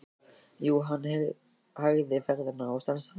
Jú, hann hægði ferðina og stansaði.